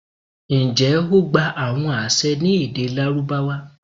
njẹ o gba awọn aṣẹ ni ede Larubawa?